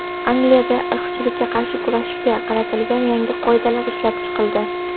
Angliyada irqchilikka qarshi kurashga qaratilgan yangi qoidalar ishlab chiqildi.